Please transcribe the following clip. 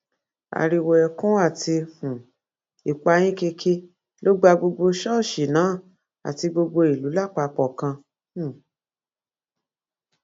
ariwo ẹkún àti um ìpayínkeke ló gba gbogbo ṣọọṣì náà àti gbogbo ìlú lápapọ kan um